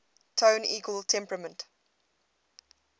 tone equal temperament